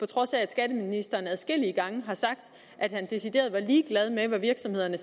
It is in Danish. trods af at skatteministeren adskillige gange har sagt at han decideret var ligeglad med hvad virksomhederne